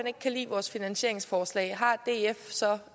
ikke kan lide vores finansieringsforslag har df så